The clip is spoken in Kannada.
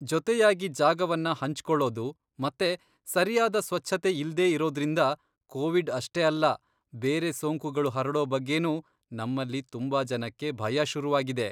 ಜೊತೆಯಾಗಿ ಜಾಗವನ್ನ ಹಂಚ್ಕೊಳ್ಳೋದು ಮತ್ತೆ ಸರಿಯಾದ ಸ್ವಚ್ಛತೆ ಇಲ್ದೇ ಇರೋದ್ರಿಂದ ಕೋವಿಡ್ ಅಷ್ಟೇ ಅಲ್ಲ ಬೇರೆ ಸೋಂಕುಗಳು ಹರಡೋ ಬಗ್ಗೆನೂ ನಮ್ಮಲ್ಲಿ ತುಂಬಾ ಜನಕ್ಕೆ ಭಯ ಶುರುವಾಗಿದೆ.